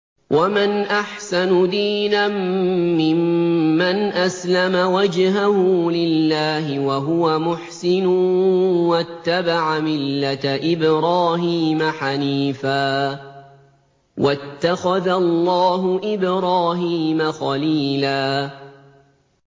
وَمَنْ أَحْسَنُ دِينًا مِّمَّنْ أَسْلَمَ وَجْهَهُ لِلَّهِ وَهُوَ مُحْسِنٌ وَاتَّبَعَ مِلَّةَ إِبْرَاهِيمَ حَنِيفًا ۗ وَاتَّخَذَ اللَّهُ إِبْرَاهِيمَ خَلِيلًا